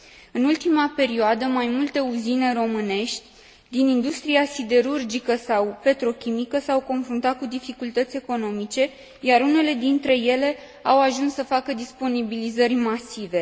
În ultima perioadă, mai multe uzine românești din industria siderurgică sau petrochimică s au confruntat cu dificultăți economice, iar unele dintre ele au ajuns să facă disponibilizări masive.